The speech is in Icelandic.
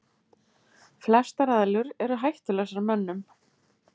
Flestar eðlur eru hættulausar mönnum.